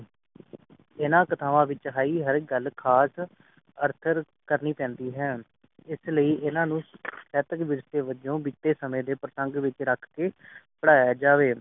ਇਨ੍ਹਾਂ ਕਥਾਵਾਂ ਵਿਚ ਕਹੀ ਹਰ ਗੱਲ ਖਾਸ ਅੰਤਰ ਕਰਨੀ ਪੈਂਦੀ ਹੈ ਇਸ ਲਈ ਇਨ੍ਹਾਂ ਨੂੰ ਸੇਤਕ ਵਿਰਸੇ ਵਜੋ ਬਿਤੇ ਸਮਯ ਦੇ ਪ੍ਰਸੰਗ ਵਿਚ ਰੱਖ ਕੇ ਪੜ੍ਹਾਇਆ ਜਾਵੇ